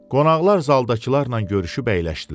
Qonaqlar zaldakılarla görüşüb əyləşdilər.